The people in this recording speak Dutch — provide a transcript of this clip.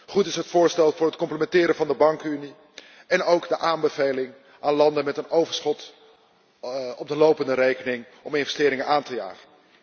Goed is het voorstel voor het complementeren van de bankenunie en ook de aanbeveling aan landen met een overschot op de lopende rekening om investeringen aan te jagen.